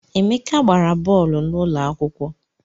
Emeka gbara bọọlụ n’ụlọakwụkwọ